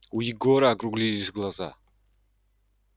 у егора округлились глаза